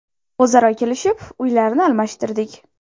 O‘zaro kelishib, uylarni almashtirdik.